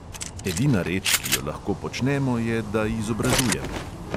Edina reč, ki jo lahko počnemo, je, da izobražujemo.